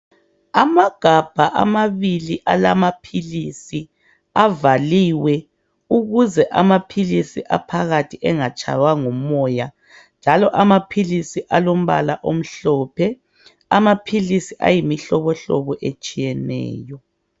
Amagabha amabili alamaphilisi avaliwe ukuze amaphilisi aphakathi angatshaywa ngumoya njalo amaphilisi alombala omhlophe. Amaphilisi ayimihlobohlobo etshiyeneyo.